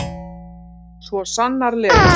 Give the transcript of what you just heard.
Svo sannarlega.